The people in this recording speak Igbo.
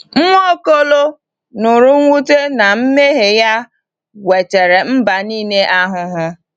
Nwaokolo nụrụ mwute na mmehie ya wetara mba niile ahụhụ.